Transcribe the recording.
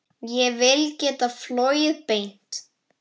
Ég vil geta flogið beint.